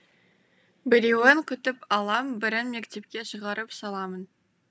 біреуін күтіп алам бірін мектепке шығарып саламын